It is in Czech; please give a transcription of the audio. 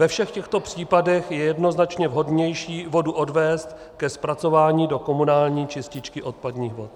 Ve všech těchto případech je jednoznačně vhodnější vodu odvést ke zpracování do komunální čističky odpadních vod.